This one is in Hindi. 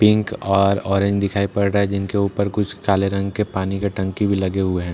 पिंक और ऑरेंज दिखाई पड़ रहा है जिनके ऊपर कुछ काले रंग के पानी के टंकी भी लगे हुए हैं।